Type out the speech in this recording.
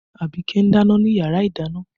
Abike ń dáná ni yàrá ìdáná